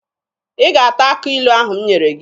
Ị ga-ata akị ilu ahụ m nyere gị!